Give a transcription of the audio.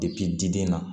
diden na